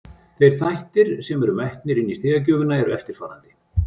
Þeir þættir sem eru metnir inni í stigagjöfina eru eftirfarandi: